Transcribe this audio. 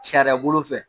Sariya bolo fɛ